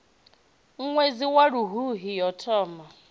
ṅwedzi wa luhuhi yo foma